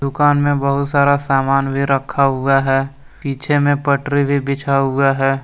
दुकान में बहुत सारा सामान भी रखा हुआ है। पिछे मे पटरी भी बिछा हुआ है।